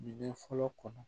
Bin fɔlɔ kɔnɔ